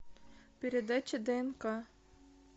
передача днк